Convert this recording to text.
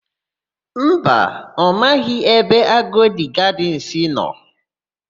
Mba, ọ maghị ebe Agodi Gadịnsị nọ.